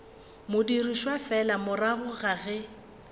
dirišwa fela morago ga ge